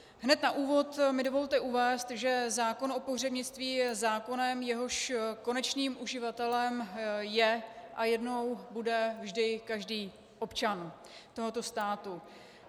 Hned na úvod mi dovolte uvést, že zákon o pohřebnictví je zákonem, jehož konečným uživatelem je a jednou bude vždy každý občan tohoto státu.